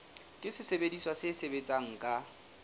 ke sesebediswa se sebetsang ka